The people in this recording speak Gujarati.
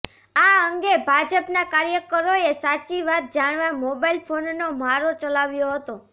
આ અંગે ભાજપના કાર્યકરોએ સાચી વાત જાણવા મોબાઇલ ફોનનો મારો ચલાવ્યો હતો